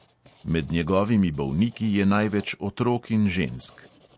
Med njegovimi bolniki je največ otrok in žensk.